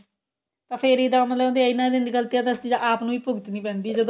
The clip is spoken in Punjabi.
ਤਾਂ ਫੇਰ ਇਹਦਾ ਮਤਲਬ ਇੰਨਾ ਦੀ ਗ਼ਲਤੀਆ ਤਾਂ ਆਪ ਨੂੰ ਭੁਗਤਣੀ ਪੈਂਦੀ ਏ ਜਦੋਂ